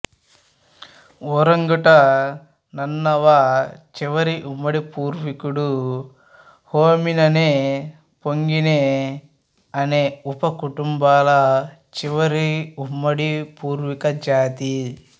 ఒరంగుటన్మానవ చివరి ఉమ్మడి పూర్వీకుడు హోమినినే పొంగినే అనే ఉప కుటుంబాల చివరి ఉమ్మడి పూర్వీక జాతి